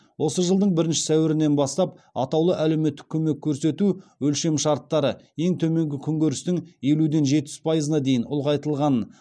осы жылдың бірінші сәуірінен бастап атаулы әлеуметтік көмек көрсету өлшемшарттары ең төменгі күнкөрістің елуден жетпіс пайызына дейін ұлғайтылғанын